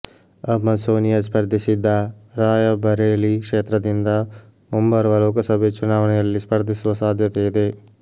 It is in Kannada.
ಅಮ್ಮ ಸೋನಿಯಾ ಸ್ಪರ್ಧಿಸಿದ್ದ ರಾಯಬರೇಲಿ ಕ್ಷೇತ್ರದಿಂದ ಮುಂಬರುವ ಲೋಕಸಭೆ ಚುನಾವಣೆಯಲ್ಲಿ ಸ್ಪರ್ಧಿಸುವ ಸಾಧ್ಯತೆ ಇದೆ